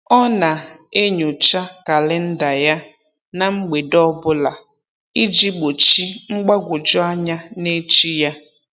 Ọ na-enyocha kalịnda ya na mgbede ọbụla iji gbochi mgbagwoju anya n'echi ya.